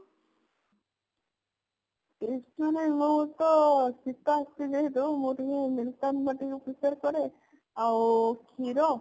tips ମାନେ ମୁଁ ତ ଶୀତ ଆସୁଛି ଯେହେତୁ ମୁଁ ଟିକେ ମୁଲତାନି ମାଟି prefer କରେ ଆଉ କ୍ଷୀର